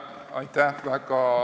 Aitäh!